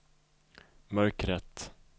mörkret